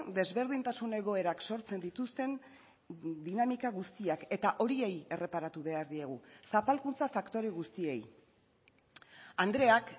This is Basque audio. desberdintasun egoerak sortzen dituzten dinamika guztiak eta horiei erreparatu behar diegu zapalkuntza faktore guztiei andreak